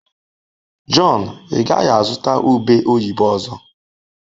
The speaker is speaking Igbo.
Jọn, ị gaghị azụta ube oyibo ọzọ?